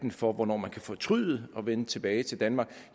for hvornår man kan fortryde og vende tilbage til danmark